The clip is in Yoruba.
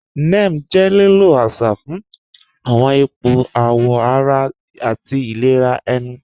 Ním jẹ́ lílò àṣà fún awọn ìpọ̀ àwọ̀ ara àti ìlẹ̀rà ènù.